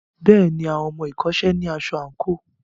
Bẹ́ẹ̀ni, àwọn ọmọ ẹ̀kọ́ṣẹ́ náà ní aṣọ àǹkóò.